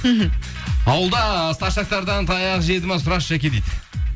мхм ауылда старшактардан таяқ жеді ме сұрашы жаке дейді